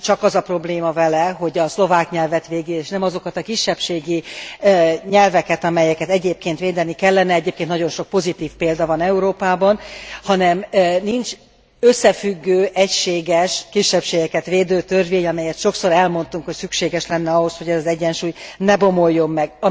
Nem csak az a probléma vele, hogy a szlovák nyelvet védi és nem azokat a kisebbségi nyelveket, amelyeket egyébként védeni kellene egyébként nagyon sok pozitív példa van Európában hanem nincs összefüggő, egységes, kisebbségeket védő törvény, amelyet sokszor elmondtunk, hogy szükséges lenne ahhoz, hogy ez az egyensúly ne bomoljon meg.